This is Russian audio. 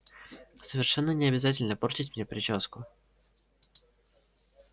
совершенно не обязательно портить мне причёску